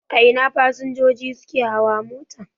A ina fasinjoji sukafi hawa mota?